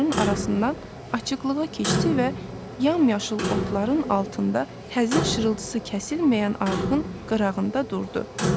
Narların arasından açıqlığa keçdi və yamyaşıl otların altında həzin şırıltısı kəsilməyən arxın qırağında durdu.